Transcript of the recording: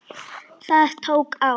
Það tók á.